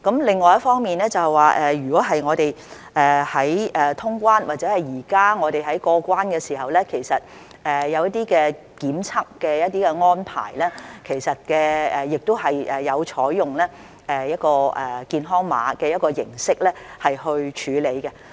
另一方面，我們在通關或者現在我們在過關時，都有檢測的安排，其實也有採用健康碼的形式來處理。